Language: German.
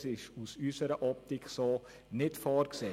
Das ist aus unserer Optik so nicht vorgesehen.